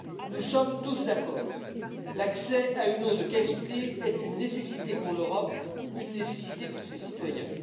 Nous sommes tous d'accord l'accès à une eau de qualité est une nécessité pour l'Europe, une nécessité pour ses citoyens.